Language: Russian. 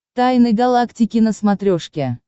тайны галактики на смотрешке